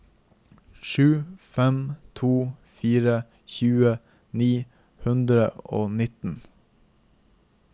sju fem to fire tjue ni hundre og nittien